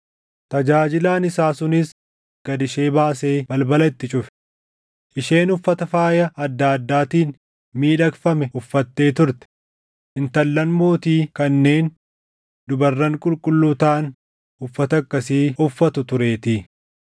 Tajaajilaan isaa sunis gad ishee baasee balbala itti cufe. Isheen uffata faaya adda addaatiin miidhagfame uffattee turte; intallan mootii kanneen dubarran qulqulluu taʼan uffata akkasii uffatu tureetii.